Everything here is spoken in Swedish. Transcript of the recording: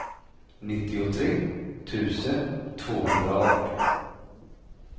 nittiotre tusen tvåhundraarton